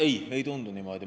Ei, ei tundu niimoodi.